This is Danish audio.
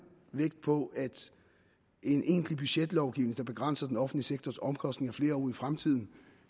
vægt på at en egentlig budgetlovgivning der begrænser den offentlige sektors omkostninger flere år ud i fremtiden